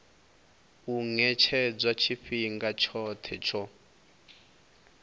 u ṅetshedzwa tshifhinga tshoṱhe tsho